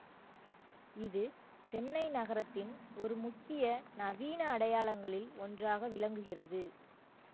இது சென்னை நகரத்தின் ஒரு முக்கிய நவீன அடையாளங்களில் ஒன்றாக விளங்குகிறது